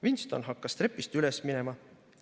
Winston hakkas trepist üles minema.